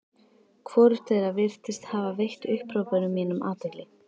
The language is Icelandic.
Hvorugt þeirra virðist hafa veitt upphrópunum mínum athygli.